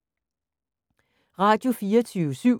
Radio24syv